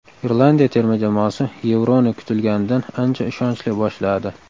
Irlandiya terma jamoasi Yevroni kutilganidan ancha ishonchli boshladi.